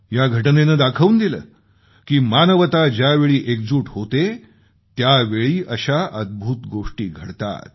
या घटनेने दाखवून दिलं की मानवता ज्यावेळी एकजूट होते त्यावेळी अशा अद्भुत गोष्टी घडतात